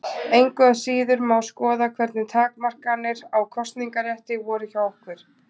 Engu að síður má skoða hvernig takmarkanir á kosningarétti voru hjá okkur.